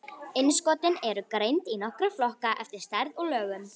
Innskotin eru greind í nokkra flokka eftir stærð og lögun.